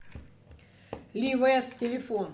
ли вест телефон